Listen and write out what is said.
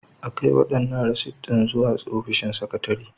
A kai waɗannan rasit ɗin zuwa ofishin sakatare.